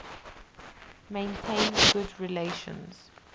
maintained good relations